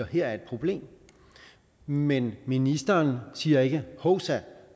her er et problem men ministeren siger ikke hovsa